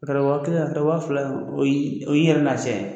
Karamɔgɔ kɛ a to waa fila in ma o yi o yi yɛrɛ lafiya.